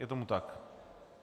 Je tomu tak?